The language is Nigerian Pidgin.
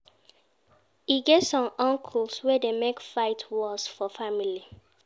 E get some uncles wey dey make fight worst for family.